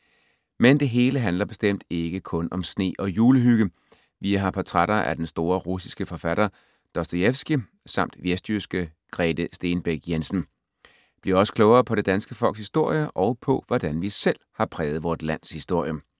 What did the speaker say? Men det hele handler bestemt ikke kun om sne og julehygge. Vi har portrætter af den store russiske forfatter Dostojevskij, samt vestjyske Grete Stenbæk Jensen. Bliv også klogere på det danske folks historie og på, hvordan vi selv har præget vort lands historie.